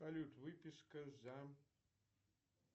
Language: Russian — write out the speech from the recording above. салют выписка за